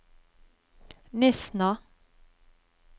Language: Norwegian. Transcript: Nesna